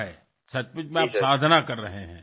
आपण खरोखरच साधना करत आहात